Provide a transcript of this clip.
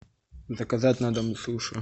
заказать на дом суши